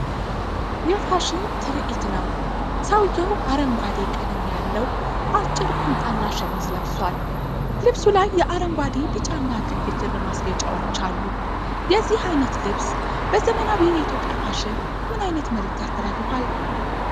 የፋሽን ትርዒት ነው። ሰውዬው አረንጓዴ ቀለም ያለው አጭር ቁምጣና ሸሚዝ ለብሷል፣ ልብሱ ላይ የአረንጓዴ፣ ቢጫ እና ቀይ ክር ማስጌጫዎች አሉ። የዚህ ዓይነት ልብስ በዘመናዊ የኢትዮጵያ ፋሽን ምን አይነት መልዕክት ያስተላልፋል?